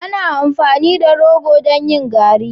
Ana amfani da rogo don yin garri.